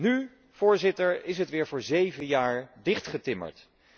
Nu, Voorzitter, is het weer voor zeven jaar dichtgetimmerd.